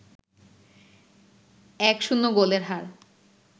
১-০ গোলের হার